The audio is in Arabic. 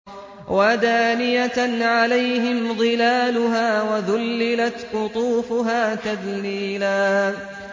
وَدَانِيَةً عَلَيْهِمْ ظِلَالُهَا وَذُلِّلَتْ قُطُوفُهَا تَذْلِيلًا